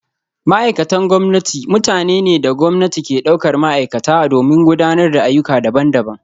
Ma’aikatan gwamnati mutane ne da gwamnati ke daukar ma’aikata domin gudanar da ayyuka daban-daban